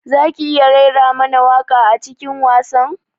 Zaki iya raira mana waƙa a cikin wasan?